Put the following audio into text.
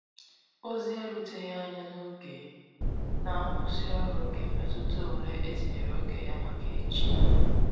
Ozi e ruteghi anya n'oge na nkwụsi ọrụ ga emetụta ụle etinyere oge ya maka echi.